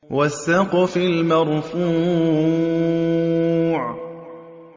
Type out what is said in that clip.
وَالسَّقْفِ الْمَرْفُوعِ